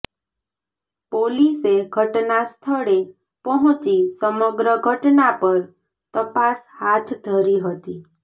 પોલીસે ઘટનાસ્થળે પહોંચી સમગ્ર ઘટના પર તપાસ હાથ ધરી હતી